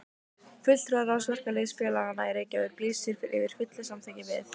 FULLTRÚARÁÐS VERKALÝÐSFÉLAGANNA Í REYKJAVÍK LÝSIR YFIR FULLU SAMÞYKKI VIÐ